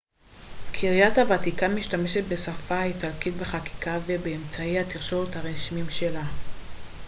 קריית הוותיקן משתמשת בשפה האיטלקית בחקיקה ובאמצעי התקשורת הרשמיים שלה